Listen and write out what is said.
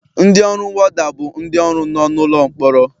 Ndị ọrụ worda bụ ndị ọrụ nọ n'ụlọ mkpọrọ